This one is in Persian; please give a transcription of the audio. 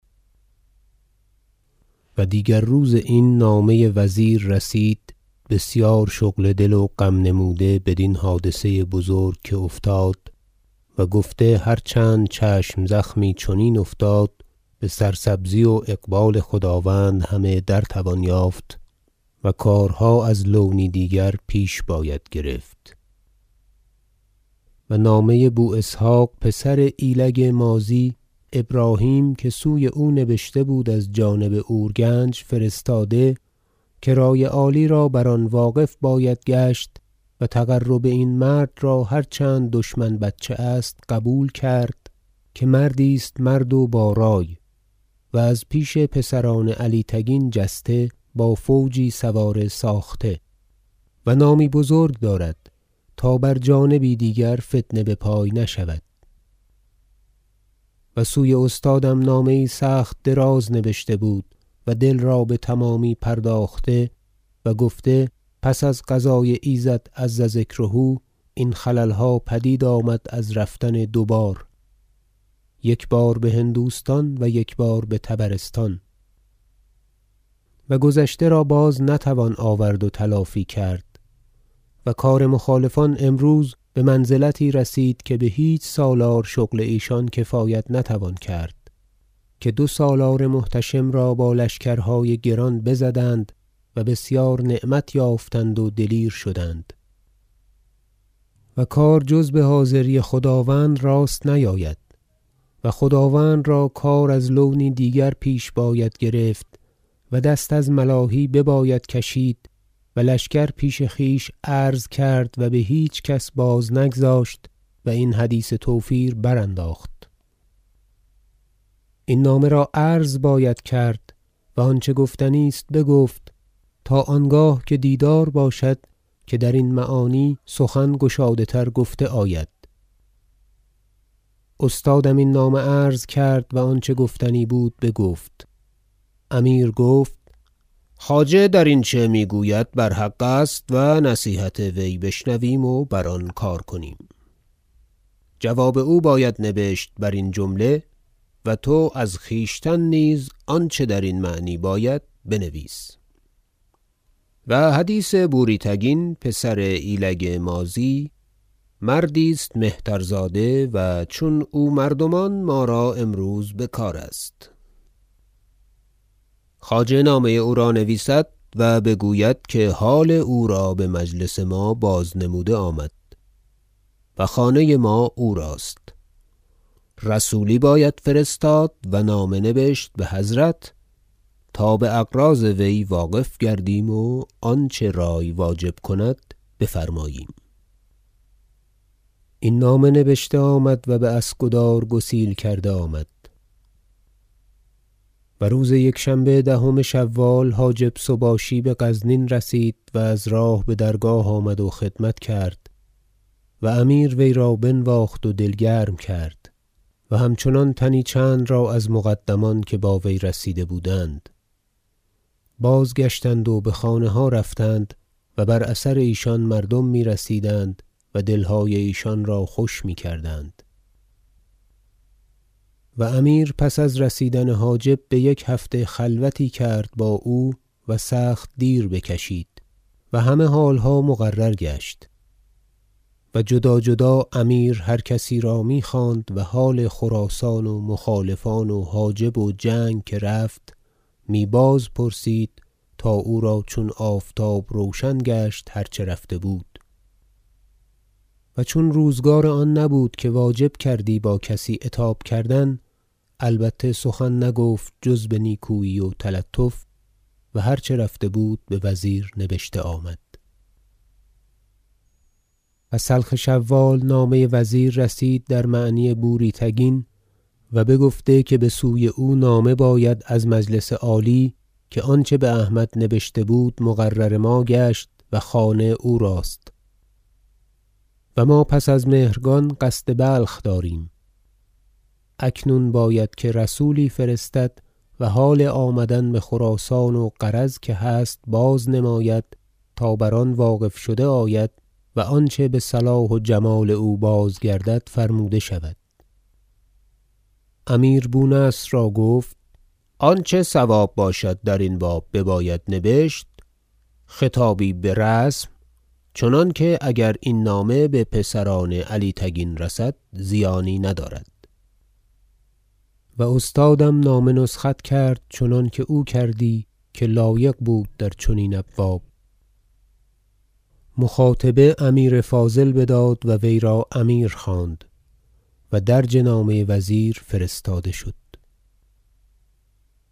و دیگر روز این نامه وزیر رسید بسیار شغل دل و غم نموده بدین حادثه بزرگ که افتاد و گفته هر چند چشم زخمی چنین افتاد بسر سبزی و اقبال خداوند همه در توان یافت و کارها از لونی دیگر پیش باید گرفت و نامه بواسحق پسر ایلگ ماضی ابراهیم که سوی او نبشته بود از جانب اور کنج فرستاده که رای عالی را بر آن واقف باید گشت و تقرب این مرد را هر چند دشمن بچه است قبول کرد که مردی است مرد و با رای و از پیش پسران علی تگین جسته با فوجی سوار ساخته و نامی بزرگ دارد تا بر جانبی دیگر فتنه بپای نشود و سوی استادم نامه یی سخت دراز نبشته بود و دل را بتمامی پرداخته و گفته پس از قضای ایزد عز ذکره این خللها پدید آمد از رفتن دوبار یک بار بهندوستان و یک بار بطبرستان و گذشته را باز نتوان آورد و تلافی کرد و کار مخالفان امروز بمنزلتی رسید که بهیچ سالار شغل ایشان کفایت نتوان کرد که دو سالار محتشم را با لشکرهای گران بزدند و بسیار نعمت یافتند و دلیر شدند و کار جز بحاضری خداوند راست نیاید و خداوند را کار از لونی دیگر پیش باید گرفت و دست از ملاهی بباید کشید و لشکر پیش خویش عرض کرد و بهیچ کس باز نگذاشت و این حدیث توفیر برانداخت این نامه را عرض باید کرد و آنچه گفتنی است بگفت تا آنگاه که دیدار باشد که درین معانی سخن گشاده تر گفته آید استادم این نامه عرض کرد و آنچه گفتنی بود بگفت امیر گفت خواجه در اینچه میگوید بر حق است و نصیحت وی بشنویم و بر آن کار کنیم جواب او باید نبشت برین جمله و تو از خویشتن نیز آنچه درین معنی باید بنویس و حدیث بوری تگین پسر ایلگ ماضی مردی است مهترزاده و چون او مردمان ما را امروز بکار است خواجه نامه یی او را نویسد و بگوید که حال او را بمجلس ما بازنموده آمد و خانه ما او راست رسولی باید فرستاد و نامه نبشت بحضرت تا باغراض وی واقف گردیم و آنچه رای واجب کند بفرماییم این نامه نبشته آمد و باسکدار گسیل کرده آمد آمدن سباشی بدرگاه و روز یکشنبه دهم شوال حاجب سباشی بغزنین رسید و از راه بدرگاه آمد و خدمت کرد و امیر وی را بنواخت و دل گرم کرد و همچنان تنی چند را از مقدمان که با وی رسیده بودند بازگشتند و بخانه ها رفتند و بر اثر ایشان مردم میرسیدند و دلهای ایشان را خوش میکردند و امیر پس از رسیدن حاجب بیک هفته خلوتی کرد با او و سخت دیر بکشید و همه حالها مقرر گشت و جدا جدا امیر هر کسی را میخواند و حال خراسان و مخالفان و حاجب و جنگ که رفت می باز پرسید تا او را چون آفتاب روشن گشت هر چه رفته بود و چون روزگار آن نبود که واجب کردی با کسی عتاب کردن البته سخن نگفت جز بنیکویی و تلطف و هر چه رفته بود بوزیر نبشته آمد و سلخ شوال نامه وزیر رسید در معنی بوری تگین و بگفته که بسوی او نامه باید از مجلس عالی که آنچه باحمد نبشته بود مقرر ما گشت و خانه او راست و ما پس از مهرگان قصد بلخ داریم اکنون باید که رسولی فرستد و حال آمدن بخراسان و غرض که هست بازنماید تا بر آن واقف شده آید و آنچه بصلاح و جمال او بازگردد فرموده شود امیر بونصر را گفت آنچه صواب باشد درین باب بباید نبشت خطایی برسم چنانکه اگر این نامه بپسران علی تگین رسد زیانی ندارد و استادم نامه نسخت کرد چنانکه او کردی که لایق بود در چنین ابواب مخاطبه امیر فاضل بداد و وی را امیر خواند و درج نامه وزیر فرستاده شد